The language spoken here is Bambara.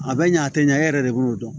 A bɛ ɲɛ a tɛ ɲɛ e yɛrɛ de b'o dɔn